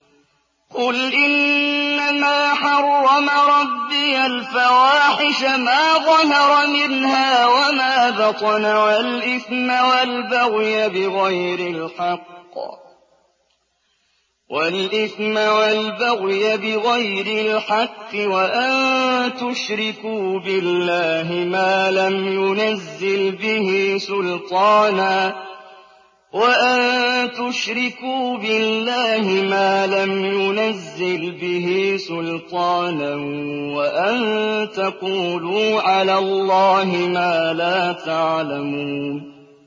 قُلْ إِنَّمَا حَرَّمَ رَبِّيَ الْفَوَاحِشَ مَا ظَهَرَ مِنْهَا وَمَا بَطَنَ وَالْإِثْمَ وَالْبَغْيَ بِغَيْرِ الْحَقِّ وَأَن تُشْرِكُوا بِاللَّهِ مَا لَمْ يُنَزِّلْ بِهِ سُلْطَانًا وَأَن تَقُولُوا عَلَى اللَّهِ مَا لَا تَعْلَمُونَ